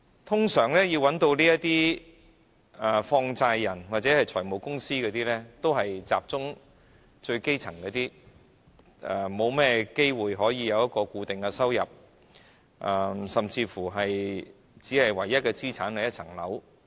通常要找放債人或財務公司的，都是一些最基層的市民，他們很少有固定收入，甚至唯一的資產是一層樓。